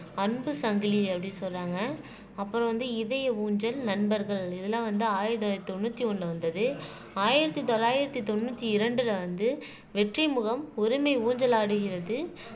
அன்பு சங்கிலி அப்படின்னு சொல்ராங்க அப்புறம் வந்து இதய ஊஞ்சல் நண்பர்கள் இதெல்லாம் வந்து ஆயிரத்தி தொள்ளாயிரத்தி தொண்ணூத்தி ஒண்ணுல வந்தது ஆயிரத்தி தொள்ளாயிரத்தி தொண்ணூத்தி இரண்டுல வந்து வெற்றி முகம் உரிமை ஊஞ்சலாடுகிறது